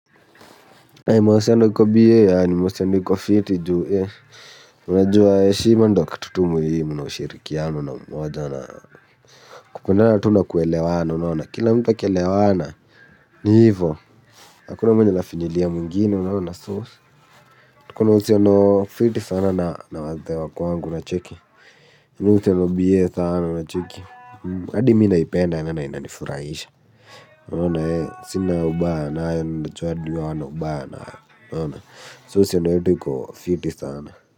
Mahusiano iko bie ni mahusiano iko fiti juu unajua heshima ndo kitu tuh muhimu na ushirikiano na umoja kunayo tuh kuelewana unaona kila mtu akielewana ni hivyo hakuna mwenye anafinyilia mwingine unaona tuko na uhusiano fiti na wazee wa kwangu unacheki mimi hucheza bie unacheki kwa hivyo, kwa hivyo, kwa hivyo, kwa hivyo, kwa hivyo, kwa hivyo, kwa hivyo, kwa hivyo, unaona so uhusiano yetu uko fiti sana.